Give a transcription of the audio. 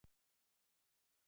Þeir játuðu sök